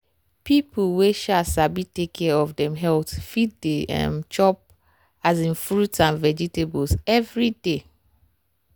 people wey um sabi take care of dem health fit dey um chop um fruit and vegetables every day.